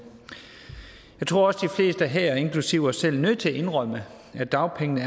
jeg tror også fleste her inklusive os selv er nødt til at indrømme at dagpengene